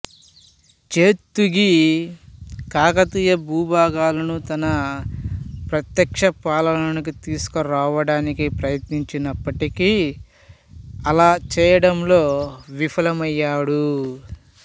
జైతుగి కాకతీయ భూభాగాలను తన ప్రత్యక్ష పాలనలోకి తీసుకురావడానికి ప్రయత్నించినప్పటికీ అలా చేయడంలో విఫలమయ్యాడు